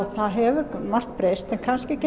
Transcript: það hefur margt breyst en kannski ekki